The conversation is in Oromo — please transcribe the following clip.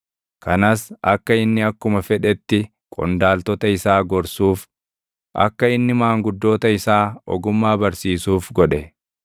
kanas akka inni akkuma fedhetti qondaaltota isaa gorsuuf, akka inni maanguddoota isaa ogummaa barsiisuuf godhe.